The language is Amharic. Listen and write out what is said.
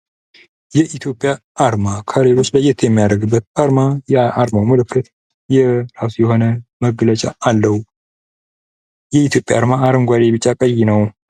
የኢትዮጵያ አርማ ከሌሎች ለየት የሚያደርግበት የአርማው ምልክት የራሱ የሆነ መገለጫ አለው። የኢትዮጵያ አርማ አረንጓዴ ቢጫ ቀይ ነው።